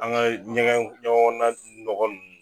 An ga ɲɛgɛn ɲɛgɛn kɔnɔna nɔgɔ nunnu